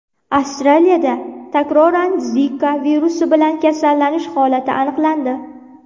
Avstraliyada takroran Zika virusi bilan kasallanish holati aniqlandi.